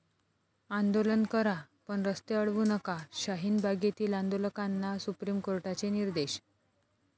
आंदोलन करा, पण रस्ते अडवू नका. शाहीन बागेतील आंदोलकांना सुप्रीम कोर्टाचे निर्देश